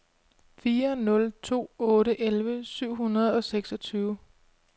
fire nul to otte elleve syv hundrede og seksogtyve